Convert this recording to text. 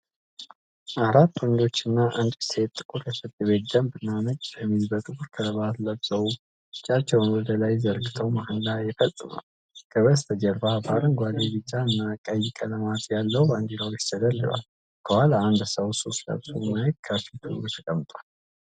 አራት ወንዶችና አንዲት ሴት ጥቁር የፍርድ ቤት ደንብና ነጭ ሸሚዝ በጥቁር ከረባት ለብሰው እጃቸውን ወደ ላይ ዘርግተው መሀላ ይፈፅማሉ። ከበስተጀርባ በአረንጓዴ፣ ቢጫና ቀይ ቀለማት ያለው ባንዲራዎች ተደርድረዋል፣ ከኋላ አንድ ሰዉ ሱፍ ለብሶ፣ ማይክ ከፊቱ ተቀምጧል።